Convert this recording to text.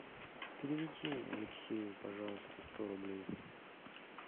переведи алексею пожалуйста сто рублей